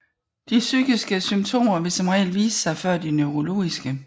De psykiske symptomer vil som regel vise sig før de neurologiske